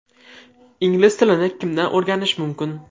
Ingliz tilini kimdan o‘rganish mumkin?.